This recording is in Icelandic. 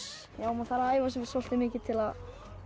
maður þarf að æfa sig soldið mikið til að